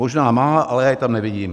Možná má, ale já ji tam nevidím.